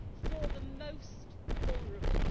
for the most vulnerable.